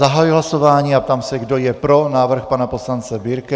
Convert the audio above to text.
Zahajuji hlasování a ptám se, kdo je pro návrh pana poslance Birkeho.